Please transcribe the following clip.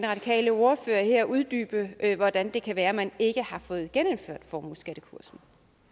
radikale ordfører her uddybe hvordan det kan være man ikke har fået genindført formueskattekursen